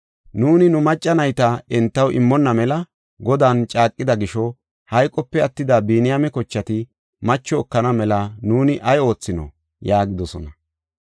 Nuuni nu macca nayta entaw immonna mela Godan caaqida gisho hayqope attida Biniyaame kochati macho ekana mela nuuni ay oothinoo?” yaagidosona.